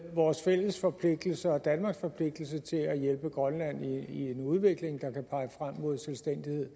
vores fælles forpligtelse og danmarks forpligtelse til at hjælpe grønland i en udvikling der kan pege frem mod selvstændighed